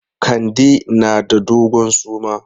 Kande na da dogon suma.